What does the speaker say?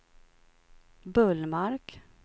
Bullmark